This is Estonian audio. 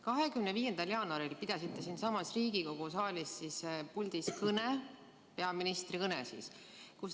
25. jaanuaril pidasite siinsamas Riigikogu saalis peaministri kõne.